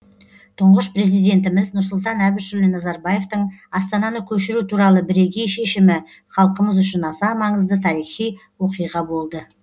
тұңғыш президентіміз нұрсұлтан әбішұлы назарбаевтың астананы көшіру туралы бірегей шешімі халқымыз үшін аса маңызды тарихи оқиға болды